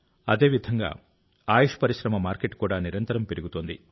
అదేవిధంగా ఆయుష్ పరిశ్రమ మార్కెట్ కూడా నిరంతరం పెరుగుతోంది